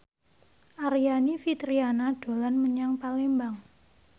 Aryani Fitriana dolan menyang Palembang